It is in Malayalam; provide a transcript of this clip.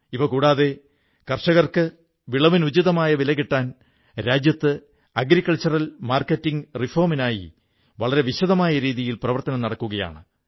ഇവ കൂടാതെ കർഷകർക്ക് വിളവിന് ഉചിതമായ വില കിട്ടാൻ രാജ്യത്ത് കാർഷിക വിപണി പരിഷ്കാരങ്ങൾക്കായി വളരെ വലിയ തോതിലുള്ള പ്രവർത്തനങ്ങൾ നടക്കുകയാണ്